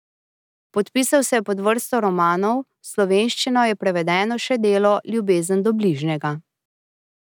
Podpisal se je pod vrsto romanov, v slovenščino je prevedeno še delo Ljubezen do bližnjega.